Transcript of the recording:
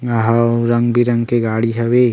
यहाँ रंग-बिरंग के गाड़ी हवे।